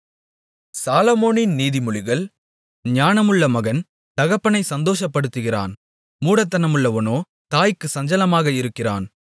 சாலொமோனின் நீதிமொழிகள் ஞானமுள்ள மகன் தகப்பனைச் சந்தோஷப்படுத்துகிறான் மூடத்தனமுள்ளவனோ தாய்க்குச் சஞ்சலமாக இருக்கிறான்